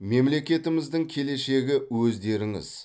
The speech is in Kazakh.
мемлекетіміздің келешегі өздеріңіз